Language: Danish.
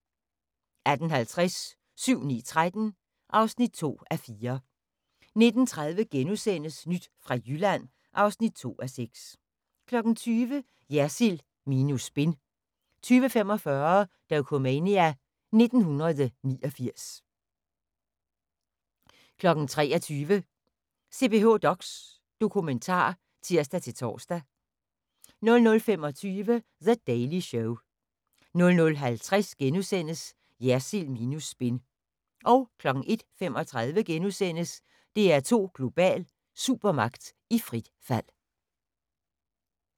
18:50: 7-9-13 (2:4) 19:30: Nyt fra Jylland (2:6)* 20:00: Jersild minus spin 20:45: Dokumania: 1989 23:00: CPH:DOX dokumentar (tir-tor) 00:25: The Daily Show 00:50: Jersild minus spin * 01:35: DR2 Global: Supermagt i frit fald *